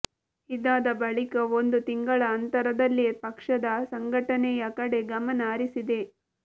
ಇದಾದ ಬಳಿಕ ಒಂದು ತಿಂಗಳ ಅಂತರದಲ್ಲೇ ಪಕ್ಷದ ಸಂಘಟನೆಯ ಕಡೆ ಗಮನ ಹರಿಸಿದೆ